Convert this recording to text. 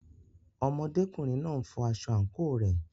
Ọmọdékùnrin náà n fọ aṣọ àǹkóò rẹ̀.